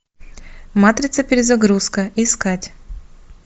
матрица перезагрузка искать